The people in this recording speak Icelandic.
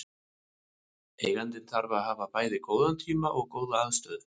Eigandinn þarf að hafa bæði góðan tíma og góða aðstöðu.